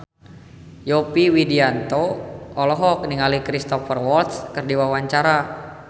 Yovie Widianto olohok ningali Cristhoper Waltz keur diwawancara